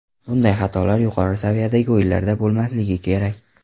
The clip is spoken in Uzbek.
Bunday xatolar yuqori saviyadagi o‘yinlarda bo‘lmasligi kerak.